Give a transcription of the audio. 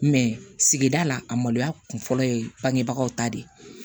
sigida la a maloya kun fɔlɔ ye bangebagaw ta de ye